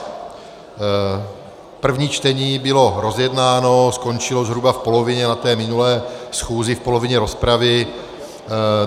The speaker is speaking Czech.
První čtení bylo rozjednáno, skončilo zhruba v polovině na té minulé schůzi, v polovině rozpravy.